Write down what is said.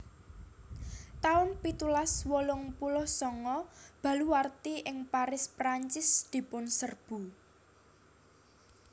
taun pitulas wolung puluh sanga Baluwarti ing Paris Prancis dipunserbu